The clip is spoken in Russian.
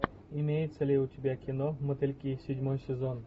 имеется ли у тебя кино мотыльки седьмой сезон